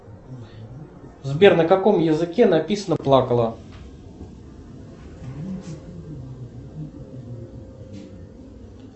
сбер на каком языке написано плакала